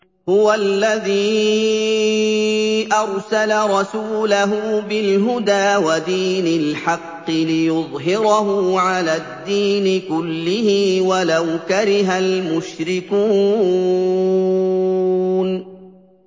هُوَ الَّذِي أَرْسَلَ رَسُولَهُ بِالْهُدَىٰ وَدِينِ الْحَقِّ لِيُظْهِرَهُ عَلَى الدِّينِ كُلِّهِ وَلَوْ كَرِهَ الْمُشْرِكُونَ